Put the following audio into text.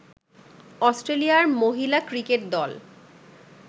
অস্ট্রেলিয়ার মহিলা ক্রিকেট দল